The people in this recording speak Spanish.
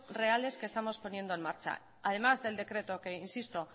reales que estamos poniendo en marcha además del decreto que insisto